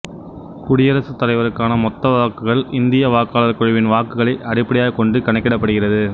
குடியரசுத் தலைவருக்கான மொத்தவாக்குகள் இந்திய வாக்காளர் குழுவின் வாக்குகளை அடிப்படையாகக் கொண்டு கணக்கிடப்படுகிறது